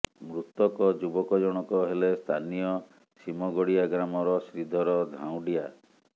ମୃତକ ଯୁବକ ଜଣକ ହେଲେ ସ୍ଥାନୀୟ ସିମଗଡ଼ିଆ ଗ୍ରାମର ଶ୍ରୀଧର ଧାଉଁଡ଼ିଆ